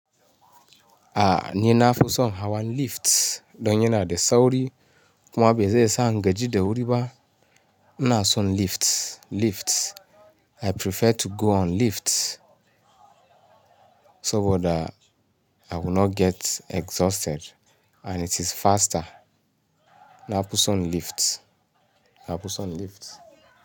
Ah ni na fuson hawa lift, don yinadi sauri, kuma ba zai sa ni gaji da wuri ba. Ina son lift, lift. I prefer to go on lift so bada I will not get exhausted and it is faster. Na fuson lift. Na fuson lift.